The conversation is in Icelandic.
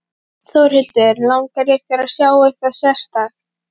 Þórhildur: Langar ykkur að sjá eitthvað sérstakt?